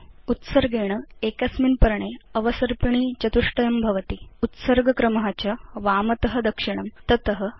उत्सर्गेण एकस्मिन् पर्णे अवसर्पिणी चतुष्टयं भवति उत्सर्ग क्रम च वामत दक्षिणं तत अध